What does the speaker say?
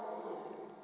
u ya u vhonana na